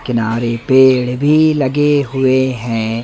किनारे पेड़ भी लगे हुए हैं।